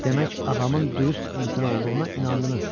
Demək ağamın dürüst insan olduğuna inandınız?